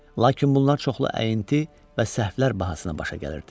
Lakin bunlar çoxlu əti və səhvlər bahasına başa gəlirdi.